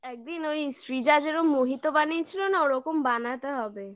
দিন ওই সৃজা যেরম mohito বানিয়ে ছিল না ওরকম বানাতে হবে